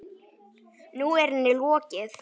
Nú er henni lokið.